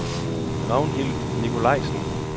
Ragnhild Nicolaisen